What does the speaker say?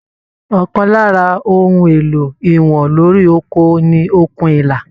Ọkàn lára ohùn èlò ìwọ̀n lórí oko ní okùn ìlà.